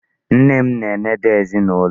Nne na-enede ezinụlọ.